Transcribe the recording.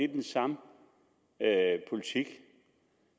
den samme politik